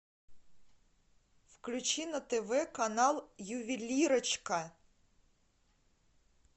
включи на тв канал ювелирочка